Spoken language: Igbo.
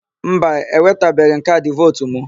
Mba, ewetabeghị m kaadị vootu mụ.